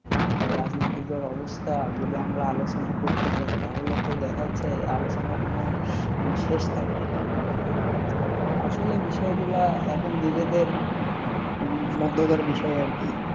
আর রাজনীতিকর অবস্থা যদি আমরা আলোচনা করতে যাই তাহলে তো দেখা যাচ্ছে এই আলোচনার কোনো মানে শেষ থাকবে না তো আসলে বিষয় গুলা এখন নিজেদের মধ্যকার বিষয় আর কি।